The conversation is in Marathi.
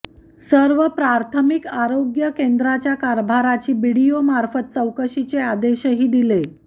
सर्व प्राथमिक आरोग्य केंद्रांच्या कारभाराची बीडीओंमार्फत चौकशीचे आदेशही दिले